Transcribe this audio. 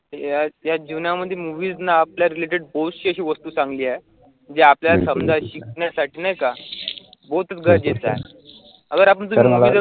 या जीवनामध्ये movies ना आपल्या related अशी वस्तु चांगली आहे, ज्या आपल्या समजा शिकण्यासाठी नाही का गरजेचं आहे.